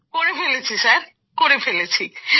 করে ফেলেছি স্যার করে ফেলেছি